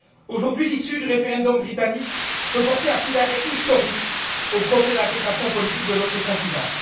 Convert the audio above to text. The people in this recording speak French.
Aujourd'hui, l'issue du référendum britannique peut porter un coup d'arrêt historique au projet d'intégration politique de notre continent.